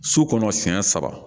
So kɔnɔ siɲɛ saba